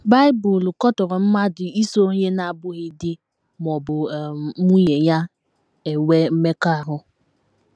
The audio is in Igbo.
Bible katọrọ mmadụ iso onye na - abụghị di ma ọ bụ um nwunye ya enwe mmekọahụ.